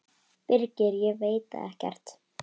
Birgir: Ég veit það ekkert.